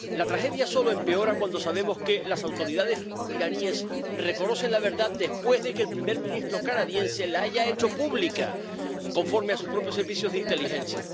La tragedia solo empeora cuando sabemos que las autoridades iraníes reconocen la verdad después de que el primer ministro canadiense la haya hecho pública, conforme a sus propios servicios de inteligencia.